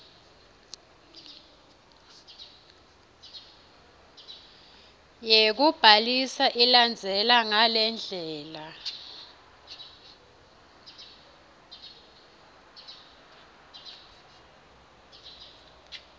yekubhalisa ilandzela ngalendlela